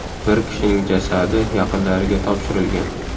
Bir kishining jasadi yaqinlariga topshirilgan.